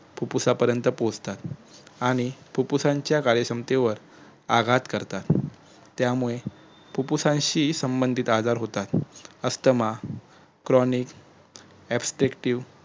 फुप्फुसापर्यंत पोहचतात आणि फुप्फुसाच्या काही क्षमतेवर आघात करतात त्यामुळे फुप्फुसाशी संबंधीत आजार होतात अस्थमा cronic aspective